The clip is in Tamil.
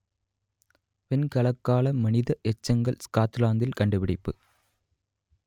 வெண்கலக்கால மனித எச்சங்கள் ஸ்காட்லாந்தில் கண்டுபிடிப்பு